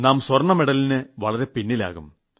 നാം സ്വർണ്ണ മെഡലിന് വളരെ പിന്നിലാകും